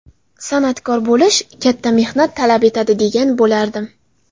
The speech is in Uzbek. San’atkor bo‘lish katta mehnat talab etadi, degan bo‘lardim.